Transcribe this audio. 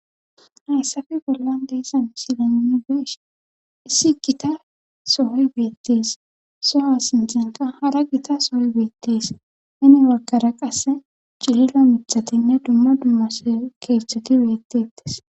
Hayssafe bollan deese misilenugeesh issi gita sohoy beettees soha sintenka hara gita sooy beettees nini waggara qasse cilila mithatinne dumma dummas keeththoti beettettes.